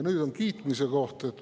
Nüüd on kiitmise koht.